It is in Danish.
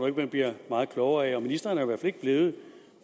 at man bliver meget klogere af og ministeren er i hvert fald ikke blevet